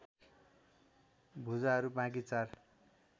भुजाहरू बाँकी चार